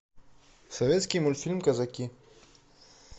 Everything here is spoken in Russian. советский мультфильм казаки